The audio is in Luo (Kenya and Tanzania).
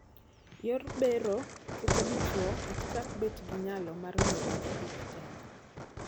Yor bero keto dichwo ok chak bet gi nyalo mar miyo dhako ich tena.